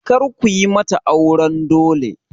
Kar kuyi mata auran dole!